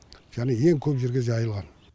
және ең көп жерге жайылған